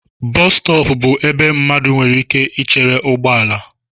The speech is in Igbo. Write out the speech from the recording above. Bọs stọọpu bú ebe mmadụ nwere ike ichere ụgbọala.